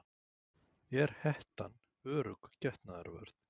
Er hettan örugg getnaðarvörn?